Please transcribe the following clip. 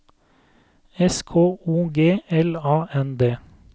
S K O G L A N D